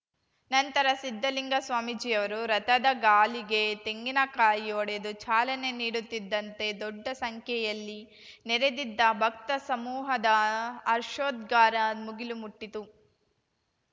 ನಂತರ ಸಿದ್ದಲಿಂಗ ಸ್ವಾಮೀಜಿಯವರು ರಥದ ಗಾಲಿಗೆ ತೆಂಗಿನಕಾಯಿ ಒಡೆದು ಚಾಲನೆ ನೀಡುತ್ತಿದ್ದಂತೆ ದೊಡ್ಡ ಸಂಖ್ಯೆಯಲ್ಲಿ ನೆರೆದಿದ್ದ ಭಕ್ತಸಮೂಹದ ಹರ್ಷೋದ್ಗಾರ ಮುಗಿಲು ಮುಟ್ಟಿತು